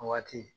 O waati